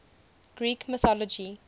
greek mythology